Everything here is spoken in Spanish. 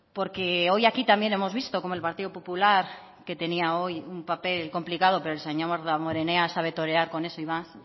porque hoy aquí también hemos visto como el partido popular que tenía hoy un papel complicado pero el señor damborenea sabe torear con eso y más